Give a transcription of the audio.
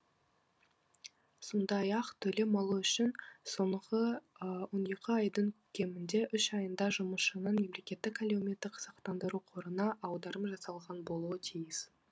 сондай ақ төлем алу үшін соңғы он екі айдың кемінде үш айында жұмысшының мемлекеттік әлеуметтік сақтандыру қорына аударым жасалған болуы тиіс